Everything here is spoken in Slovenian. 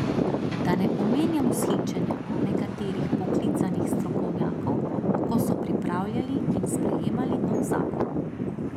Da ne omenjam vzhičenja nekaterih poklicanih strokovnjakov, ko so pripravljali in sprejemali nov zakon.